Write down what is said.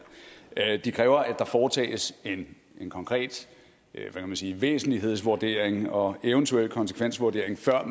de kræver at der foretages en konkret væsentlighedsvurdering og eventuelt en konsekvensvurdering før